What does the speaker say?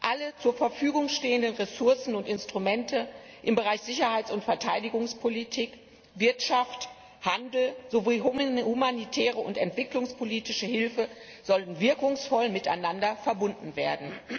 Alle zur Verfügung stehenden Ressourcen und Instrumente im Bereich Sicherheits und Verteidigungspolitik, Wirtschaft, Handel sowie humanitäre und entwicklungspolitische Hilfe sollen wirkungsvoll miteinander verbunden werden.